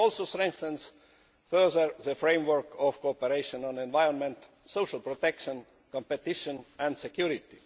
It also further strengthens the framework of cooperation on the environment, social protection, competition and security.